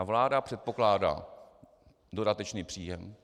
A vláda předpokládá dodatečný příjem.